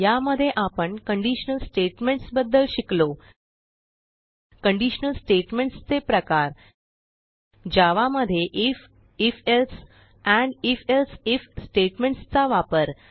यामध्ये आपण conditional statements बद्दल शिकलो कंडिशनल स्टेटमेंट्स चे प्रकार जावा मध्ये if if else and if else if statements चा वापर